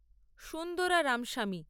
Sundara Ramaswamy